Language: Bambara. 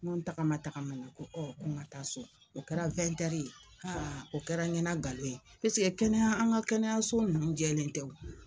Ŋo n tagama tagamana ko ko ŋa taa so, o kɛra ye. o kɛra ɲɛna galon ye piseke kɛnɛya an ŋa kɛnɛyaso nunnu jɛlen tɛ o.